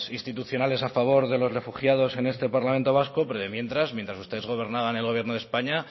institucionales a favor de los refugiados en este parlamento vasco pero de mientras mientras ustedes gobernaban en el gobierno de españa